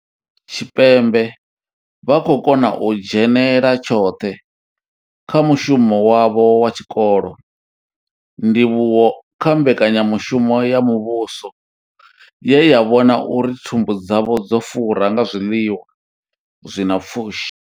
Tshipembe vha khou kona u dzhenela tshoṱhe kha mushumo wavho wa tshikolo, ndivhuwo kha mbekanyamushumo ya muvhuso ye ya vhona uri thumbu dzavho dzo fura nga zwiḽiwa zwi na pfushi.